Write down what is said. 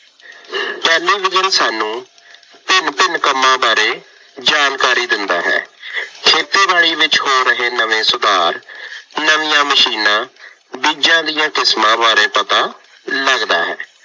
Television ਸਾਨੂੰ ਭਿੰਨ ਭਿੰਨ ਕੰਮਾਂ ਬਾਰੇ ਜਾਣਕਾਰੀ ਦਿੰਦਾ ਹੈ। ਖੇਤੀਬਾੜੀ ਵਿੱਚ ਹੋ ਰਹੇ ਨਵੇਂ ਸੁਧਾਰ, ਨਵੀਆਂ ਮਸ਼ੀਨਾਂ, ਬੀਜ਼ਾਂ ਦੀਆਂ ਕਿਸਮਾਂ ਬਾਰੇ ਪਤਾ ਲੱਗਦਾ ਹੈ।